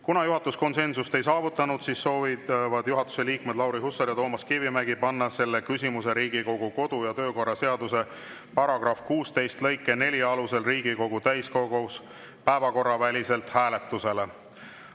Kuna juhatus konsensust ei saavutanud, siis soovivad juhatuse liikmed Lauri Hussar ja Toomas Kivimägi panna selle küsimuse Riigikogu kodu- ja töökorra seaduse § 16 lõike 4 alusel Riigikogu täiskogus päevakorraväliselt hääletusele.